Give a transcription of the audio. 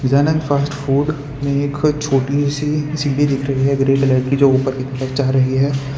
Gajanand fast food में एक छोटी सी सीढ़ी दिख रही है ग्रे कलर की जो ऊपर की ओर जा रही है।